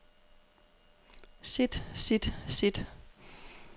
sit sit sit